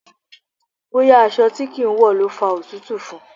Bóyá aṣọ tí kì ń wọ̀ ló fa òtútù fún.